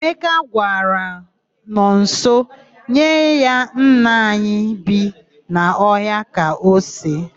Emeka gwara Nọnso nye ya nnaanyị bi n'ọhịa ka o see.